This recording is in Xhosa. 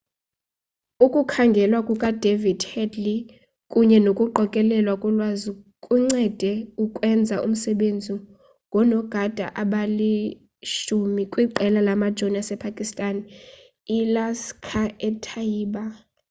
ukukhangelwa kukadavid headley kunye nokuqokelelwa kolwazi kuncede ukwenza umsebenzi ngoonogada abali-10 kwiqela lamajoni asepakistan ilaskhar-e-taiba